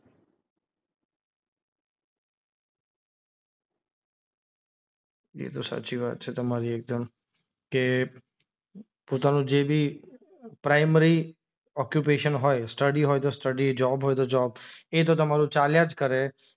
એ તો સાચી વાત છે તમારી એકદમ કે પોતાનું જે બી પ્રાઇમરી ઓક્યુપેશન હોય સ્ટડી હોય તો સ્ટડી જોબ હોય તો જોબ, એ તો તમારું ચાલ્યા જ કરે